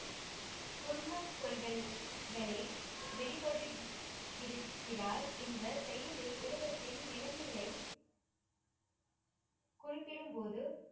குர்மத் கொள்கள்களை வெளிபடுத்தி இருக்கிறார் இந்த செய்யுளில் உலகத்தின் நிலைமையை குறிப்பிடும்போது